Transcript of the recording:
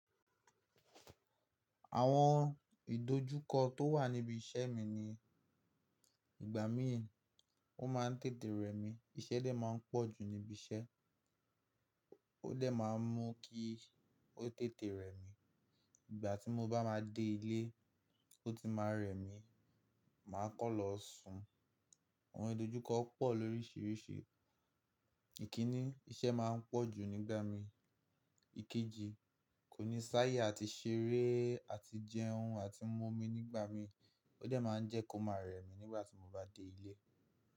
Àwọn ìdojúkọ tó wà níbi iṣẹ́ mi ni ìgbà mí ì o máa ń tètè rẹ mi. Ìṣẹ́ dẹ́ máa ń pọ̀ jù níbiṣẹ́, ó dẹ́ máa ń mú kí ó tètè rẹ mi. Ìgbà tí mo bá máa dé ilé ó ti máa rẹ mi, màá kan lọ sùn. Awon idojuko po lorisirisi. Ìkínní, iṣẹ́ máa ń pọ̀ jù nígbà míi. Ikeji, kò ní sáyé àti ṣeré àti jẹun àti mu omi nígbà mií. Ó dẹ́ máa ń jẹ́ kó máa rẹ mi nígbà tí mo bá dé ilé.